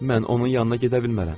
Mən onun yanına gedə bilmərəm.